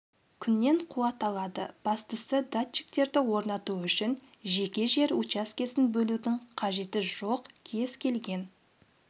күннен қуат алады бастысы датчиктерді орнату үшін жеке жер учаскесін бөлудің қажеті жоқ кез келген